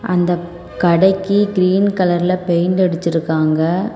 அந்தக் கடைக்கு கிரீன் கலர்ல பெயிண்ட் அடிச்ருக்காங்க.